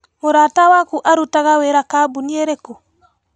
Mũrata waku arutaga wĩra kambuni ĩrĩkũ?